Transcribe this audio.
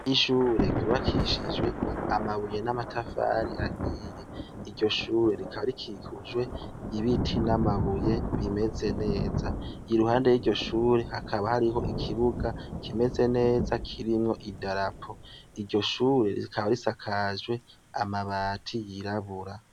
Ishure ryubakishijwe amabuye n'amatafari ahiye, iryo shure rikaba rikikujwe n’ ibiti n'amabuye bimeze neza, iruhande y'iryo shure hakaba hariho ikibuga kimeze neza kirimwo idarapo, iryo shure rikaba risakajwe amabati yirabura.